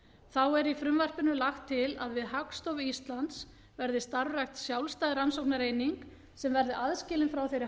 þá er í frumvarpinu lagt til að við hagstofu íslands verði starfrækt sjálfstæð rannsóknareining sem verði aðskilin frá þeirri